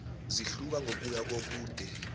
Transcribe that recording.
zihluka ngokuya kobude